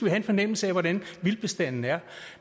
have en fornemmelse af hvordan vildtbestanden er